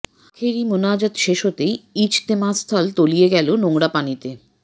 আখেরি মোনাজাত শেষ হতেই ইজতেমাস্থল তলিয়ে গেল নোংরা পানিতে